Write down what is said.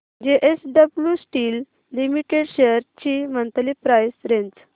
JSW steel limited shares ची monthly price range